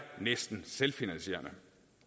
næsten selvfinansierende